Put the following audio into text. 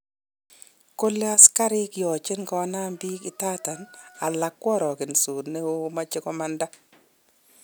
Kole asikarik yoche kenam bik, idadan alak kworogedos noa moche komanda.